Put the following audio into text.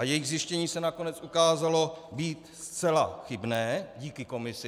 A jejich zjištění se nakonec ukázalo být zcela chybné, díky komisi.